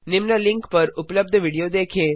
निम्न लिंक पर उपलब्ध विडियो देखें